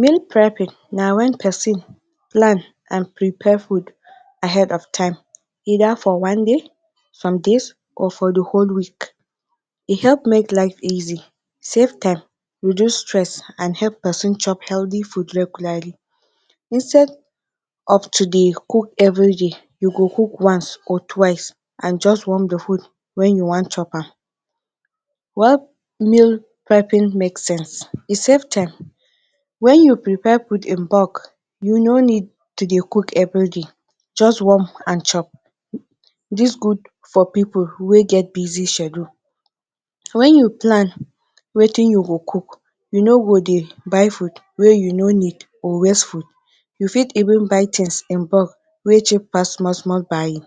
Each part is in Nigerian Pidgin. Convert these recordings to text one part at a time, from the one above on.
Meal prepping na wen pesin plan and prepare food ahead of time either for one day, some days, or for di whole week. E help make life easy, save time, reduce stress and help pesin chop healthy food regularly. Instead of to dey cook evri day, you go cook once or twice and just warm di food wen you wan chop am. Why meal prepping make sense? E save time. Wen you prepare food in bulk you no need to dey cook evriday, just warm and chop. Dis good for pipo wey get busy schedule. Wen you plan wetin you go cook, you no go dey buy food wey you no need or wastful. You fit even buy tins in bulk wey cheap pass small small buying.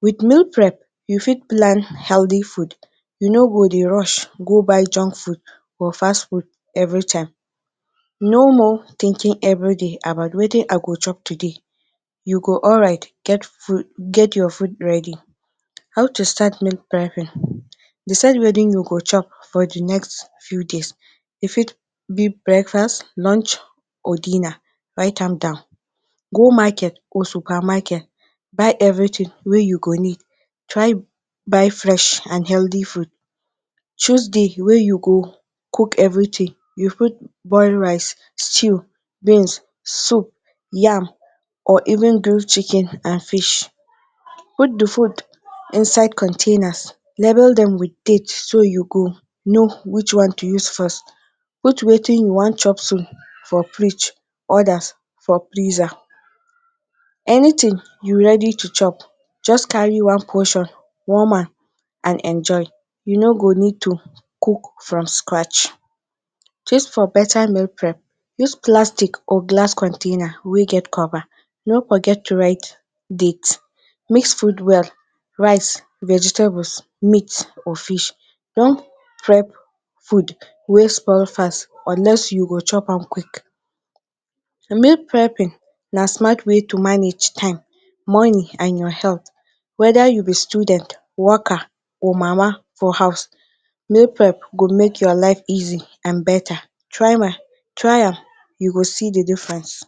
Wit meal prep, you fit plan healthy food, you no go dey rush go buy junk foods or fast food. Evri time. No more thinking evri day about wetin I go chop today, you go alright get your food ready. How to start meal prep. Decide wetin you go chop for di next few days. You fit be breakfast, lunch or dinner, write am down. Go market or super market buy evri tin wey you go need, try buy fresh and healthy food, choose day wey you go cook evritin. You fit boil rice, stew, beans, soup, yam or even grill chicken and fish. Put di food inside containers, label dem wit dates so you go know which to use first. Put wetin you wan chop soon for fridge odas for freezer, anytin you ready to chop, just carry one portion warm am and enjoy. You no go need to cook from scratch. Tips for betta meal prep. Use plastic or glass container wey get cover no forget to write dates, mixed food well, rice, vegetables, meat or fish, don't prep food wey spoil fast unless you go chop am quick. Di meal prepping na smart way to manage time, money and your health. Weda you be student, worker or mama for house meal prep go make your life easy and betta. Try am, you go see di difference.